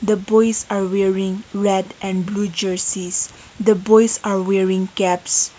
the boys are wearing red and blue jerseys the boys are wearing caps.